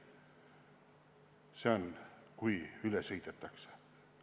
See on, kui üle sõidetakse.